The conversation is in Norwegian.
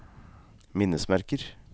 minnesmerker